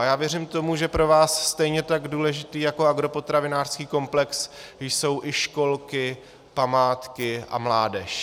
A já věřím tomu, že pro vás stejně tak důležitý jako agropotravinářský komplex jsou i školky, památky a mládež.